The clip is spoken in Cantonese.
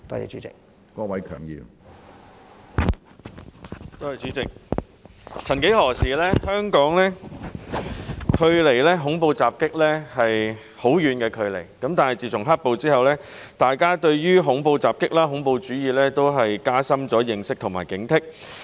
主席，曾幾何時，香港距離恐怖襲擊相當遙遠，但自從"黑暴"之後，大家對恐怖襲擊、恐怖主義也加深了認識和警惕。